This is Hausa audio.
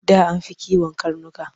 Da an fi kiwon karnuka.